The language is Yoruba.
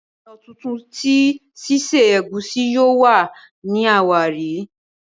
ọnà títún tí sise egusi yóò wá ní àwárí.